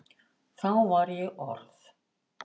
Þá var ég orð